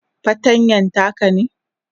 fartanyan taka ne?